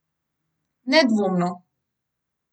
Nedvomno!